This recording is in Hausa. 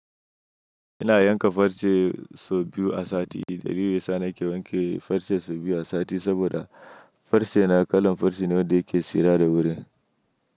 Ina yanka farce sau biyu a sati. Dalili da yasa nake yanke farce sau biyu a sati saboda farce na kalan farce ne wanda yake tsira da wurin.